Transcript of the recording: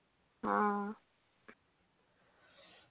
ആ